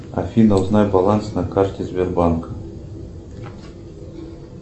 афина узнай баланс на карте сбербанка